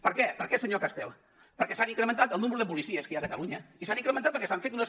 per què per què senyor castel perquè s’ha incrementat el nombre de policies que hi ha a catalunya i s’ha incrementat perquè s’han fet unes